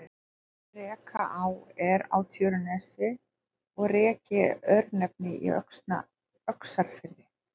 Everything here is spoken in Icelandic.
Rekaá er á Tjörnesi og Reki er örnefni í Öxarfirði.